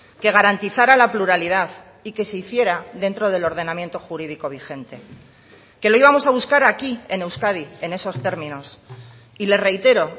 que garantizara la pluralidad y que se hiciera dentro del ordenamiento jurídico vigente que lo íbamos a buscar aquí en euskadi en esos términos y le reitero